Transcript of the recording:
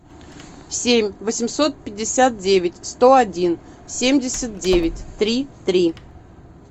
семь восемьсот пятьдесят девять сто один семьдесят девять три три